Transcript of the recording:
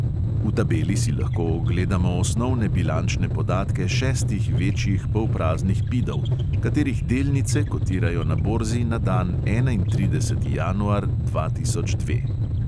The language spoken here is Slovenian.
V tabeli si lahko ogledamo osnovne bilančne podatke šestih večjih polpraznih pidov, katerih delnice kotirajo na borzi na dan enaintrideseti januar dva tisoč dve.